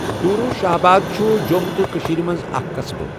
ڈورو Shahabad چھُہ جۄم تہٕ کٔشېر مُنٛز اَکھ قصبہٕ